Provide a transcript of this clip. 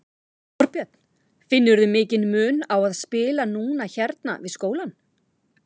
Þorbjörn: Finnurðu mikinn mun á að spila núna hérna við skólann?